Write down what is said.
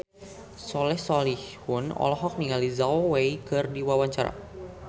Soleh Solihun olohok ningali Zhao Wei keur diwawancara